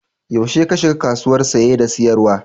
Yaushe ka shiga kasuwar Saye da sayarwa?